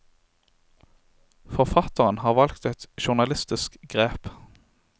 Forfatteren har valgt et journalistisk grep.